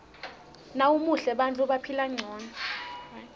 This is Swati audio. nawumuhle bantfu baphila ngcono